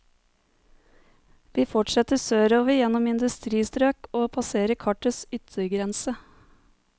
Vi fortsetter sørover gjennom industristrøk og passerer kartets yttergrense.